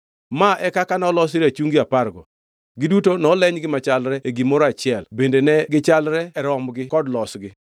Ma e kaka noloso rachungi apargo. Giduto nolenygi machalre e gimoro achiel bende ne gichalre e romgi kod losogi.